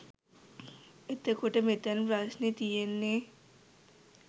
එතකොට මෙතැන ප්‍රශ්නෙ තියෙන්නේ